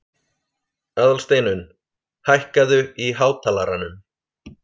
Aðalsteinunn, hækkaðu í hátalaranum.